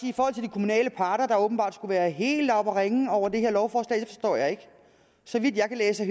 kommunale parter åbenbart skulle have været helt oppe at ringe over det her lovforslag forstår jeg ikke så vidt jeg kan læse